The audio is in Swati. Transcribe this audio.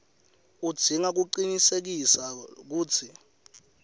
udzinga kucinisekisa kutsi